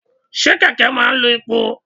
Ṣé kẹ̀kẹ́ máa ń lo epo?